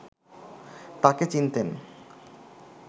তাকে চিনতেন